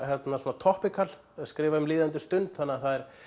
svona skrifa um líðandi stund þannig að það er